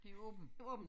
Det åbent